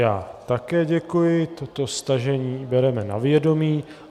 Já také děkuji, toto stažení bereme na vědomí.